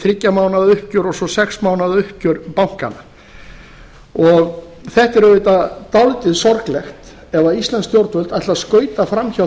þriggja mánaða uppgjör og svo sex mánaða uppgjör bankanna þetta er auðvitað dálítið sorglegt ef íslensk stjórnvöld ætla að skauta framhjá